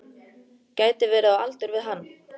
Gæti verið á aldur við hann.